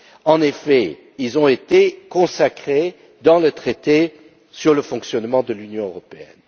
En effet, ils ont été consacrés dans le traité sur le fonctionnement de l'Union européenne.